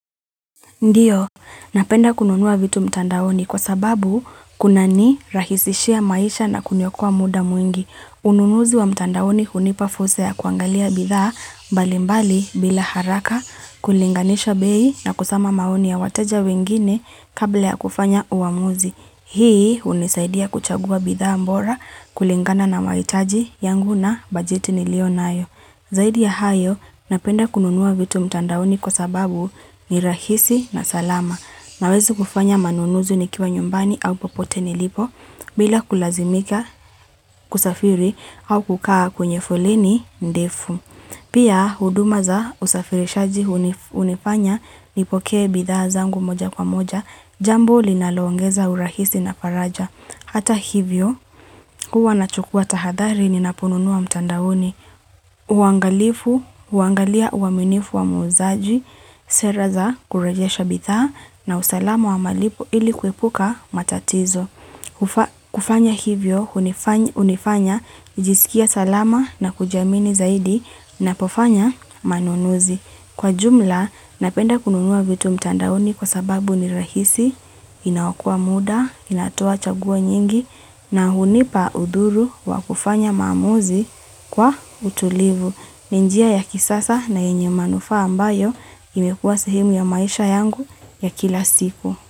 Ndiyo, napenda kununuwa vitu mtandaoni kwa sababu kuna ni rahisishia maisha na kuniokoa muda mwingi. Ununuzi wa mtandaoni hunipa fursa ya kuangalia bidhaa mbalimbali bila haraka, kulinganisha bei na kusoma maoni ya wateja wengine kabla ya kufanya uamuzi. Hii unisaidia kuchagua bidhaa mbora kulingana na maitaji yangu na bajeti nilionayo. Zaidi ya hayo, napenda kununua vitu mtandaoni kwa sababu ni rahisi na salama. Nawezi kufanya manunuzi nikiwa nyumbani au popote nilipo bila kulazimika kusafiri au kukaa kwenye foleni ndefu Pia, huduma za usafirishaji unifanya nipokee bidhaa zangu moja kwa moja, jambo linalo ongeza urahisi na faraja. Hata hivyo, huwa nachukua tahadhari ninaponunua mtandaoni, uangalifu, uangalia uaminifu wa muzaji, sera za kurejesha bidhaa na usalama wa malipo ili kuepuka matatizo. Kufanya hivyo, unifanya, kujisikia salama na kujiamini zaidi, napofanya manunuzi. Kwa jumla, napenda kununua vitu mtandaoni kwa sababu ni rahisi, inaokoa muda, inatoa chaguo nyingi, na hunipa udhuru wa kufanya maamuzi kwa utulivu. Ni njia ya kisasa na yenye manufaa ambayo imekua sehemu ya maisha yangu ya kila siku.